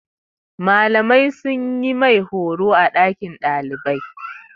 Malamai sun yi mai horo a ɗakin malamai.